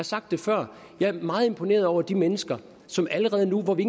sagt det før jeg er meget imponeret over de mennesker som allerede nu hvor vi